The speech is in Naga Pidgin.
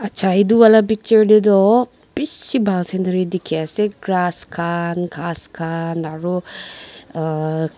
cha itu wala picture tey toh bishi bhal scenery dikhiase ghas khan grass khan aro uh--